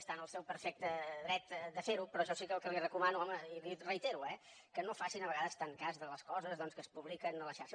està en el seu perfecte dret a fer ho però jo sí que el que li recomano home i li reitero eh que no facin a vegades tan cas de les coses que es publiquen a la xarxa